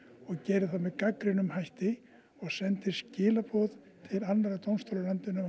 og geri það með gagnrýnum hætti og sendi skilaboð til annarra dómstóla í landinu